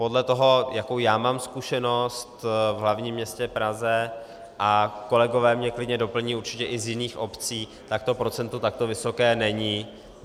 Podle toho, jakou já mám zkušenost v hlavním městě Praze, a kolegové mě klidně doplní určitě i z jiných obcí, tak to procento takto vysoké není.